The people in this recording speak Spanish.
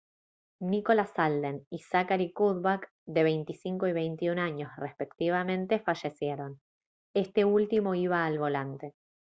nicholas alden y zachary cuddeback de 25 y 21 años respectivamente fallecieron este último iba al volante